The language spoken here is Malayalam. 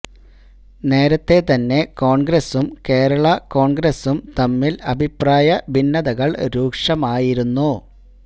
നേരത്തെ തന്നെ കോണ്ഗ്രസും കേരള കോണ്ഗ്രസും തമ്മില് അഭിപ്രായ ഭിന്നതകള് രൂക്ഷമായിരിന്നു